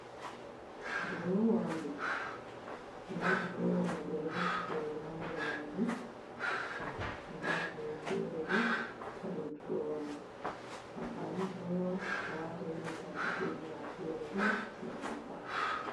Durowa on ɗo, nda durowa mai ɓeɗo resi boro ha nder majum, nda boro fere bo hadow durowa mai ampani durowa a wata irum tarkaceji ma fere ɗo sei a maɓɓa.